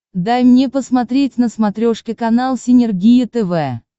дай мне посмотреть на смотрешке канал синергия тв